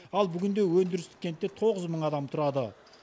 ал бүгінде өндірістік кентте тоғыз мың адам тұрады